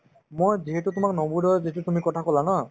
মই যিহেতু তোমাৰ নবোদয়ৰ যিটো তুমি কথা ক'লা ন